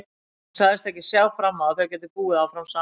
Hún sagðist ekki sjá fram á að þau gætu búið áfram saman.